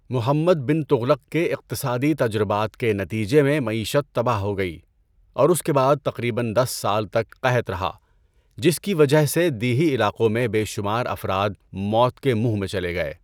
محمد بن تغلق کے اقتصادی تجربات کے نتیجے میں معیشت تباہ ہو گئی اور اس کے بعد تقریباً دس سال تک قحط رہا جس کی وجہ سے دیہی علاقوں میں بے شمار افراد موت کے منہ میں چلے گئے۔